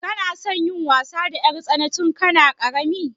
Kana son yin wasa da 'yartsana tun kana ƙarami?